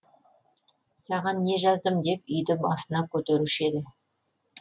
саған не жаздым деп үйді басына көтеруші еді